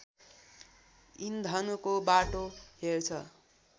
इन्धनको बाटो हेर्छ